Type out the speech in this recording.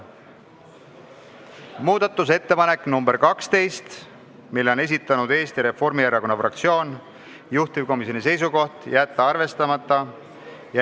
Muudatusettepanek nr 12, mille on esitanud Eesti Reformierakonna fraktsioon, juhtivkomisjoni seisukoht: jätta arvestamata.